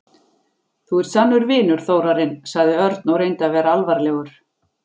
Þú ert sannur vinur, Þórarinn sagði Örn og reyndi að vera alvarlegur.